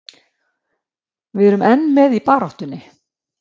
Við erum enn með í baráttunni.